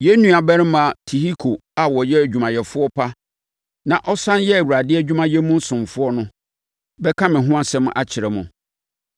Yɛn nuabarima pa Tihiko a ɔyɛ odwumayɛfoɔ pa na ɔsane yɛ Awurade adwumayɛ mu ɔsomfoɔ no bɛka me ho asɛm akyerɛ mo.